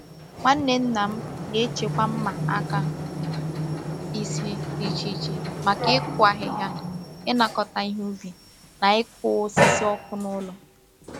Nwanne nna m na-echekwa mma aka ise dị iche iche maka ịkụ ahịhịa, ịnakọta ihe ubi, na ịkụ osisi ọkụ n’ụlọ